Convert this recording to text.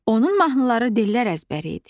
Onun mahnıları dillər əzbəri idi.